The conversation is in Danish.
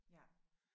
Ja